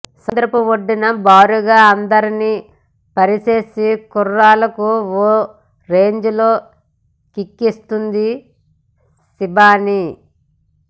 సముద్రపు ఒడ్డును బారుగా అందాల్ని పరిచేసి కుర్రాళ్లకు ఓ రేంజిలో కిక్కిస్తోంది శిబాని